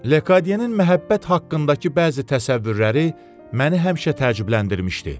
Lekadyenin məhəbbət haqqındakı bəzi təsəvvürləri məni həmişə təəccübləndirmişdi.